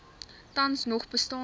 tans nog bestaande